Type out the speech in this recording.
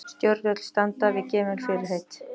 Stjórnvöld standi við gefin fyrirheit